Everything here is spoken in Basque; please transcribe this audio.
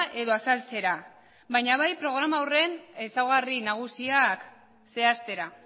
edo azaltzera baina bai programa horren ezaugarri nagusiak zehaztera